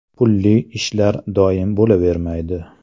Pulli ishlar doim bo‘lavermaydi.